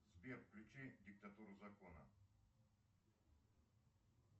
сбер включи диктатуру закона